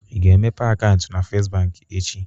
Ị ga-emepe akaụntụ na First Bank echi?